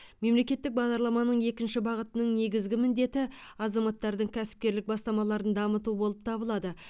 мемлекеттік бағдарламаның екінші бағытының негізгі міндеті азаматтардың кәсіпкерлік бастамаларын дамыту болып табылады